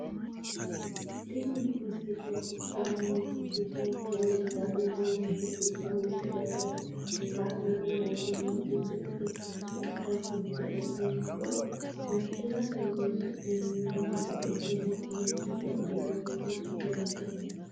Tini misile kultanonketi woyi leelishani noonketi woyi misilete la`nani heenomoti silke chaarje adha giburo kincho wonshirate horonsimeno doogo iseno meltete yinani yaate.